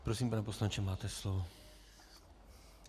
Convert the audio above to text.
Prosím, pane poslanče, máte slovo.